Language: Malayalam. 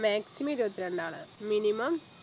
maximum ഇരുപത്തി രണ്ടാണ് minimum